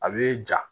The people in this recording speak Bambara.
A bɛ ja